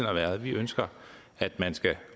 har været det vi ønsker at man skal